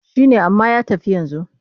Shi ne amma ya tafi yanzu.